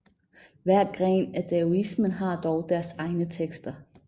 Hver gren af daoismen har dog deres egne tekster